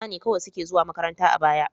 Maza ne kawai suke zuwa makaranta a baya.